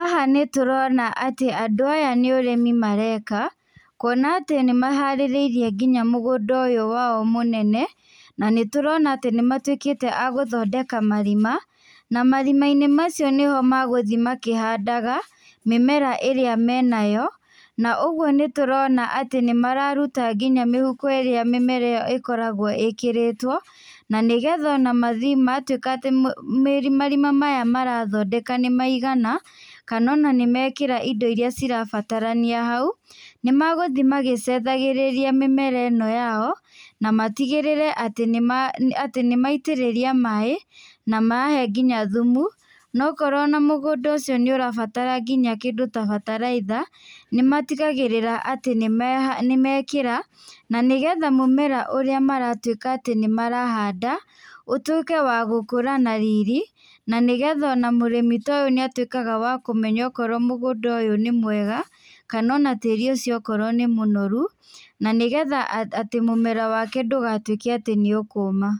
Haha nĩ tũrona atĩ andũ aya nĩ ũrĩmi mareka, kwona atĩ nĩ maharĩrĩirie nginya mũgũnda ũyũ wao mũnene, na nĩ tũrona atĩ nĩ matuĩkĩte a gũthondeka marima na marima-inĩ macio nĩ ho magũthuĩ makĩhandaga mĩmera ĩrĩa menayo, na ũguo nĩ tũrona atĩ nĩ mararuta nginya mĩhuko ĩrĩa mĩmera ĩkoragwo ĩkĩrĩtwo, na nĩgetha ona mathiĩ na gwatuĩka atĩ marima maya marathondeka nĩ maigana na ona nĩ mekĩra indo iria irabatarania hau nĩ magũthiĩ magĩcũthagĩrĩria mĩmera ĩno yao na matigĩrĩre atĩ nĩ maitĩrĩria maĩ na mahe nginya thumu na okorwo ona mũgũnda ũcio nĩ ũrabatara nginya kĩndũ ta bataraitha nĩ matigaĩrĩra atĩ nĩ mekĩra na nĩgetha mũmera ũrĩa maratuĩka atĩ nĩ marahanda ũtiĩke wa gũkũra na riri na nĩgetha ona mũrĩmi ta ũyũ nĩ atuĩkaga wa kũmenya okorwo mũgũnda ũyũ nĩ mwega kana ona tĩri ũcio nĩ okorwo nĩ mũnoru na nĩgetha mũmera wake ndũgatuĩke atĩ nĩ ũkũma.